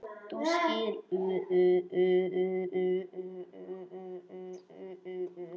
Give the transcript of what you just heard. Þú skilur.